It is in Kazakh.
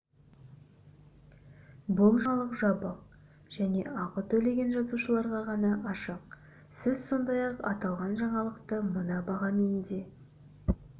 бұл жаңалық жабық және ақы төлеген жазылушыларға ғана ашық сіз сондай-ақ аталған жаңалықты мына бағамен де